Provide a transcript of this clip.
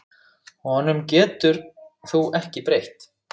Honum getur þú ekki breytt.